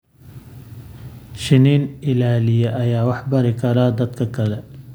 Shinni-ilaaliye ayaa wax bari kara dadka kale.